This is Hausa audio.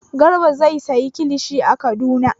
Garba zai sayi kilishi a Kaduna.